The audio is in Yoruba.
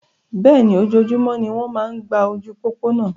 Bẹ́ẹ̀ni, ojoojúmọ́ ni wọ́n ń gba ojú pópó náa.